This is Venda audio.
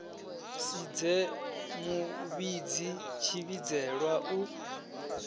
si dze muvhidzi tshivhidzelwa u